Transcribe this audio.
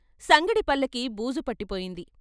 సంగడి పల్లకీ బూజుపట్టి పోయింది.